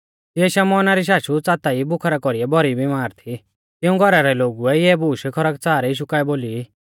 तिऐ शमौन री शाशु च़ाता ई बुखारा कौरीऐ भौरी बिमार थी तिऊं घौरा रै लोगुऐ इऐ बूश खरकच़ार यीशु काऐ बोली